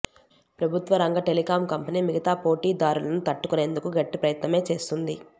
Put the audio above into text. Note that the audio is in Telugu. ప్రభుత్వ రంగ టెలికాం కంపెనీ మిగతా పోటీ దారులను తట్టు కొనేందుకు గట్టి ప్రయత్నమే చేస్తుంది